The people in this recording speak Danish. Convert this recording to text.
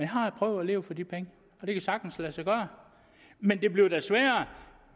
har prøvet at leve for de penge og det kan sagtens lade sig gøre men det bliver da sværere